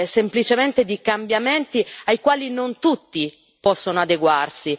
semplicemente di cambiamenti ai quali non tutti possono adeguarsi.